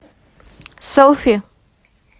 селфи